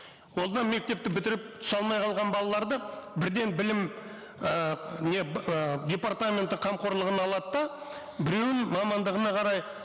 ол мына мектепті бітіріп түсе алмай қалған балаларды бірден білім ы не ыыы департаменті қамқорлығына алады да біреуін мамандығына қарай